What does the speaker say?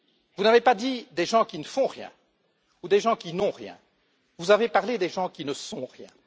Vous n'avez pas dit des gens qui ne font rien ou des gens qui n'ont rien, vous avez parlé des gens qui ne sont rien.